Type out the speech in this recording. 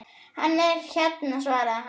Hann er hérna svaraði hann.